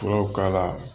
Furaw k'a la